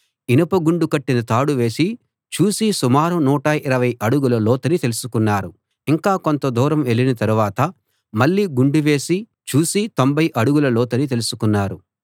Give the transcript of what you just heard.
ఇనుప గుండు కట్టిన తాడు వేసి చూసి సుమారు 120 అడుగుల లోతని తెలుసుకున్నారు ఇంకా కొంతదూరం వెళ్ళిన తరువాత మళ్ళీ గుండు వేసి చూసి 90 అడుగుల లోతని తెలుసుకున్నారు